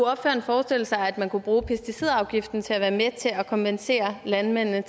forestille sig at man kunne bruge pesticidafgiften til at være med til at kompensere landmændene